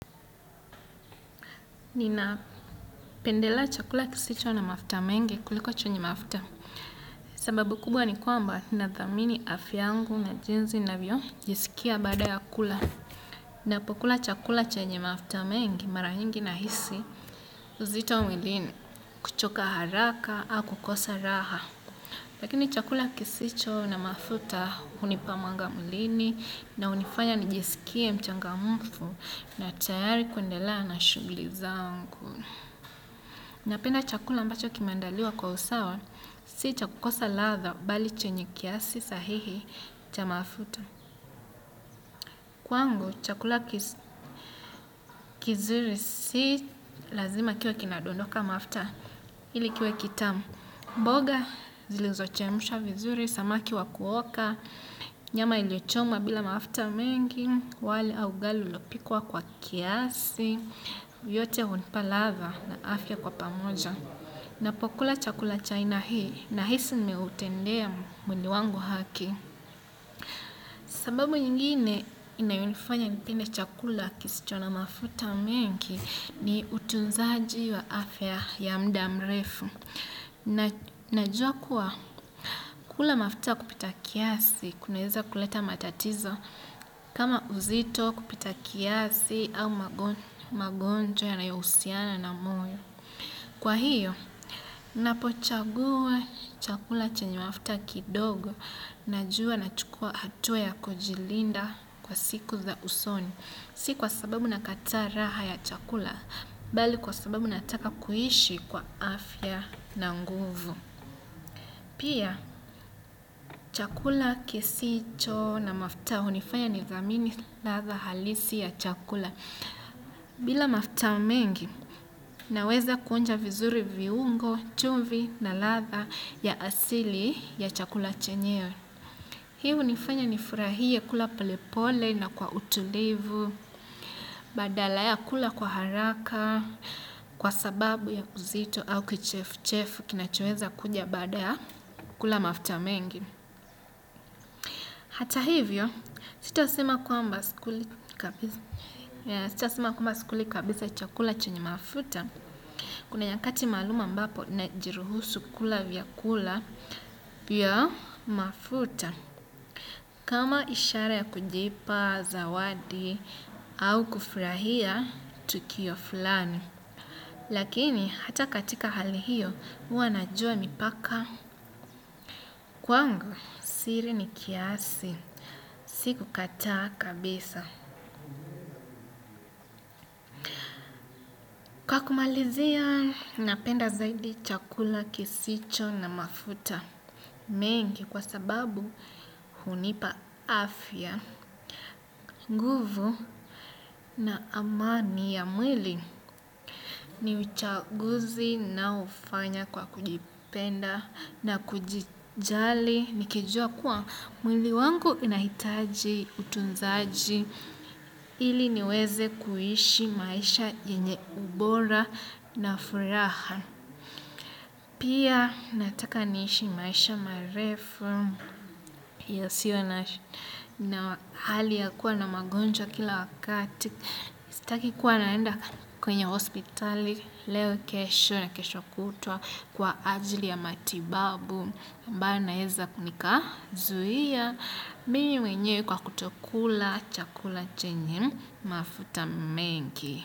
Ninapendelea chakula kisicho na mafuta mengi kuliko chenye mafuta. Sababu kubwa ni kwamba nathamini afya yngu na jinsi navyojisikia baada ya kula. Napokula chakula chenye mafuta mengi mara nyingi nahisi uzito mwilini kuchoka haraka au kukosa raha. Lakini chakula kisicho na mafuta hunipa mwanga mwilini na hunifanya nijisikie mchangamfu na tayari kuendelea na shughuli zangu. Napenda chakula ambacho kinaandaliwa kwa usawa, si cha kukosa ladha bali chenye kiasi sahihi cha mafuta. Kwangu, chakula kizuri si lazima kiwe kinadondoka mafuta ili kiwe kitamu. Mboga, zilizochemsha vizuri, samaki wa kuoka, nyama iliyochomwa bila mafuta mengi, wali au ugali ulopikwa kwa kiasi, yote hunipa ladha na afya kwa pamoja. Napokula chakula cha aina hii nahisi nimeutendea mwili wangu haki. Sababu nyingine inayonifanya nipende chakula kisicho na mafuta mengi ni utunzaji wa afya ya muda mrefu. Najua kuwa kula mafuta kupita kiasi kunaeza kuleta matatizo kama uzito kupita kiasi au magonjwa yanayohusiana na moyo. Kwa hiyo, napochagua chakula chenye mafuta kidogo najua nachukua hatua ya kujilinda kwa siku za usoni. Si kwa sababu nakataa raha ya chakula, bali kwa sababu nataka kuishi kwa afya na nguvu. Pia, chakula kisicho na mafuta hunifanya nidhamini ladha halisi ya chakula. Bila mafuta mengi, naweza kuonja vizuri viungo, chumvi na ladha ya asili ya chakula chenyewe. Hii hunifanya nifurahie kula polepole na kwa utulivu, badala ya kula kwa haraka, kwa sababu ya uzito au kichefuchefu kinachoweza kuja baada ya kula mafuta mengi. Hata hivyo, sitasema kwamba sikuli kabisa. Sitasema kwamba sikuli kabisa chakula chenye mafuta. Kuna nyakati maalum ambapo najiruhusu kula vyakula vya mafuta. Kama ishara ya kujipa, zawadi, au kufurahia, tukio fulani. Lakini, hata katika hali hiyo, huwa najua mipaka. Kwangu, siri ni kiasi. Sikukataa kabisa. Wa kumalizia napenda zaidi chakula kisicho na mafuta mengi kwa sababu hunipa afya, nguvu na amani ya mwili. Ni uchaguzi naofanya kwa kujipenda na kujijali nikijua kuwa mwili wangu inahitaji utunzaji ili niweze kuishi maisha yenye ubora na furaha. Pia nataka niishi maisha marefu, hiyo sio na hali ya kuwa na magonjwa kila wakati, sitaki kuwa naenda kwenye hospitali, leo kesho na kesho kutwa kwa ajili ya matibabu, ambayo naeza nikazuhia, mimi wenyewe kwa kutokula chakula chenye mafuta mengi.